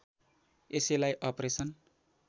यसैलाई अपरेसन